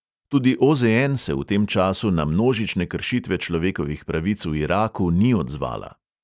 Tudi OZN se v tem času na množične kršitve človekovih pravic v iraku ni odzvala.